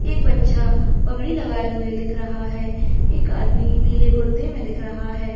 एक बच्चा पगड़ी लगाए हुए दिख रहा है एक आदमी नीले कुर्ते में दिख रहा है।